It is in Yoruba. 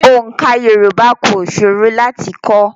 Oǹká Yorùbá kò ṣòro láti kọ́.